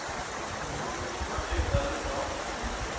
Matilda Lindahl